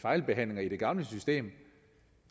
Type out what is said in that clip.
fejlbehandlinger i det gamle system